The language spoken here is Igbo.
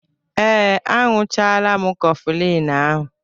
Ee, añụchaala m Kọflịñ ahụ